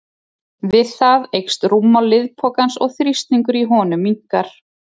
Við það eykst rúmmál liðpokans og þrýstingur í honum minnkar.